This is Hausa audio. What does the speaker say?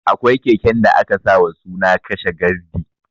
Akwai keken da aka sa wa suna ''kashe gardi'